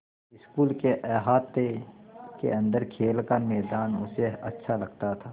school के अहाते के अन्दर खेल का मैदान उसे अच्छा लगता था